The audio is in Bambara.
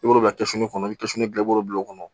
I b'o bila kɔnɔ i bɛ bila i b'o bila o kɔnɔ